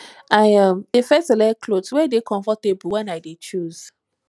i um dey first select clothe wey dey comfortable wen i dey choose